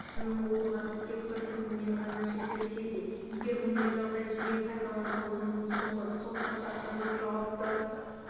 джексонның оқиғасы тек бір күнмен ғана шектелсе де егер мұндай жағдай жиі қайталанса оның соңы сотқа тапсырылып жауапты